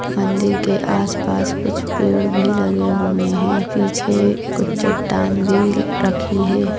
मंदिर के आसपास कुछ पेड़ भी लगे हुए हैं पीछे कुछ चट्टान भी रखी है।